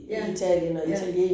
Ja, ja